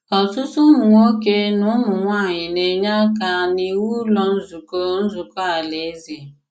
Ọ̀tùtù ùmụ̀nwòkè na ùmụ̀nwàànyị na-enyè àka n’ìwù Ụ̀lọ́ Nzukọ́ Nzukọ́ Alàèzè.